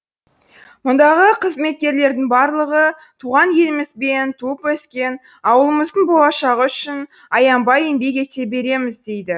мұндағы қызметкерлердің барлығы туған еліміз бен туып өскен ауылымыздың болашағы үшін аянбай еңбек ете береміз дейді